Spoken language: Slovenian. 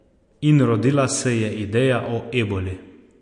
In rodila se je ideja o Eboli.